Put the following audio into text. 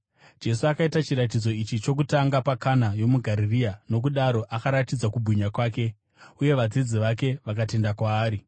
Jesu akaita chiratidzo ichi chokutanga paKana yomuGarirea. Nokudaro akaratidza kubwinya kwake, uye vadzidzi vake vakatenda kwaari.